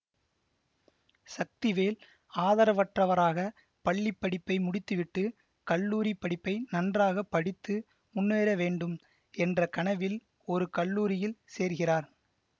சக்திவேல் ஆதரவற்றவராக பள்ளி படிப்பை முடித்துவிட்டு கல்லூரி படிப்பை நன்றாக படித்து முன்னேற வேண்டும் என்ற கனவில் ஒரு கல்லூரியில் சேர்கிறார்